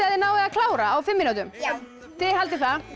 þið náið að klára á fimm mínútum já þið haldið það